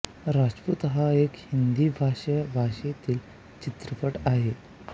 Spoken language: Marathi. राजपूत हा एक हिंदी भाषा भाषेतील चित्रपट आहे